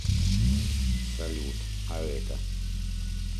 салют а это